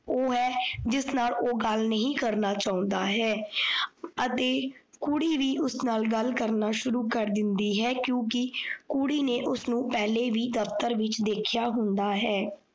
ਓਹ ਹੈ ਜਿਸ ਨਾਲ ਓਹ ਗੱਲ ਨਹੀਂ ਕਰਨਾ ਚਾਉਂਦਾ ਹੈ। ਅਤੇ ਕੁੜੀ ਵੀ ਉਸ ਨਾਲ ਗੱਲ ਕਰਨਾ ਸ਼ੁਰੂ ਕਰ ਦਿੰਦੀ ਹੈ। ਕਿਉਕਿ ਕੁੜੀ ਨੇ ਉਸ ਨੂੰ ਪੇਲਹੇ ਵੀ ਦਫ਼ਤਰ ਵਿੱਚ ਦੇਖੇਆ ਹੁੰਦਾ ਹੈ।